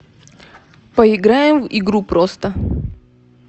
поиграем в игру просто